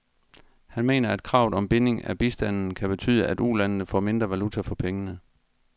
Han mener, at kravet om binding af bistanden kan betyde, at ulandene får mindre valuta for pengene.